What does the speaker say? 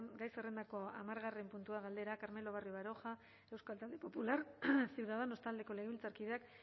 gai zerrendako hamargarren puntua galdera carmelo barrio baroja euskal talde popular ciudadanos taldeko legebiltzarkideak